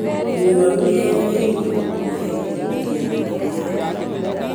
Mũrwaru nĩagĩrĩirwo nĩ kuoya gĩthimi gĩa thakame yake